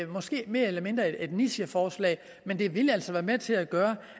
måske mere eller mindre et nicheforslag men det ville altså være med til at gøre